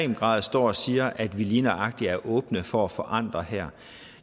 grad står og siger at vi lige nøjagtig er åbne for at forandre her